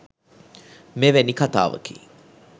මෙවැනි කතාවකි.